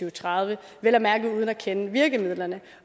og tredive vel at mærke uden at kende virkemidlerne